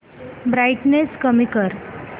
brightness कमी कर